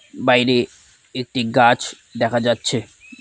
বাইরে একটি গাছ দেখা যাচ্ছে।